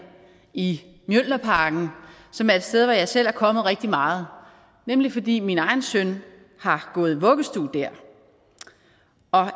i mjølnerparken som er et sted hvor jeg selv er kommet rigtig meget nemlig fordi min egen søn har gået i vuggestue der